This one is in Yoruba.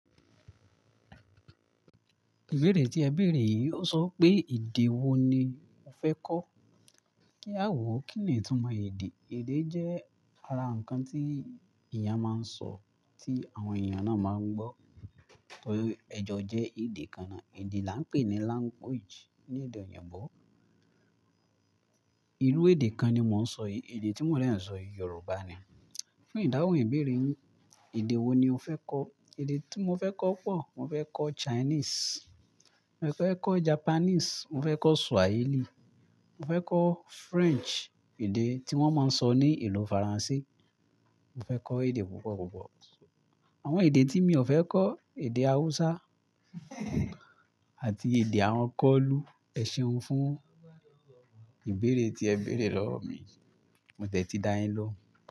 Ìbéèrè tí ẹ béèrè yìí o sọ pé èdè wo ni o fẹ́ kọ́? Kí à wo ó kínni tún mọ èdè. Èdè jẹ́ ara ǹkan tí èèyàn máa ń sọ tí àwọn èèyàn náà máa ń gbọ́. Ẹ̀jọ jẹ́ èdè kan náà. Èdè la ń pè ní language ní èdè òyìnbó. Ìrú èdè kan ni mò ń sọ yìí, èdè tí mò lẹ̀ ń sọ yìí Yorùbá ni. Fún ìdáhùn ìbéèrè yín, èdè wo ni o fẹ́ kọ́? Èdè tí mo fẹ́ kọ́ pọ̀, mo fẹ́ kọ́ Chinese, mo fẹ́ kọ́ Japanese, mo fẹ́ kọ́ Swahili, mo fẹ́ kọ́ French, èdè tí wọ́n máa ń sọ ní ìlú Faransé. Mo fẹ́ kọ́ èdè púpọ̀ púpọ̀. Àwọn èdè tí mi ò fẹ́ kọ́, èdè Hausa àti èdè àwọn kọ́lú. Ẹ ṣeun fún ìbéèrè tí ẹ béèrè lọ́wọ́ mi. Mo dẹ̀ tí dá yín lóhùn.